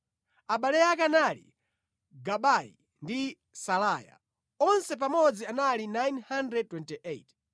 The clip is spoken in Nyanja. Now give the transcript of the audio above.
Abale ake anali Gabayi ndi Salaya. Onse pamodzi anali 928.